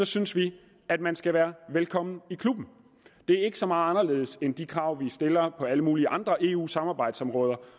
synes vi at man skal være velkommen i klubben det er ikke så meget anderledes end de krav vi stiller på alle mulige andre eu samarbejdsområder